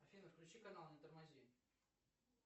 афина включи канал не тормози